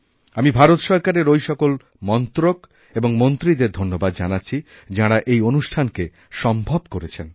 আমি ভারত সরকারের ওই সকলমন্ত্রক এবং মন্ত্রীদের ধন্যবাদ জানাচ্ছি যাঁরা এই অনুষ্ঠানকে সম্ভব করেছেন